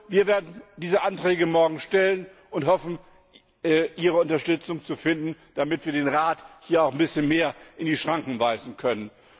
Wir werden diese Anträge morgen stellen und hoffen, Ihre Unterstützung zu finden, damit wir den Rat auch ein bisschen mehr in die Schranken weisen können.